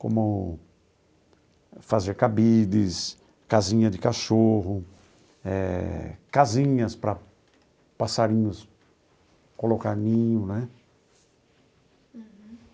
como fazer cabides, casinha de cachorro eh, casinhas para passarinhos colocarem ninho né.